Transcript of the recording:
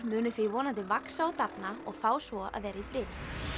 munu því vonandi vaxa og dafna og fá svo að vera í friði